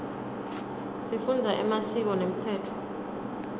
sifundza emasiko nemtsetfo